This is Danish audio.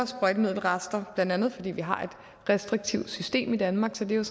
sprøjtemiddelrester blandt andet fordi vi har et restriktivt system i danmark så det er